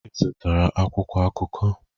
Ị zụtara akwụkwọ akụkọ?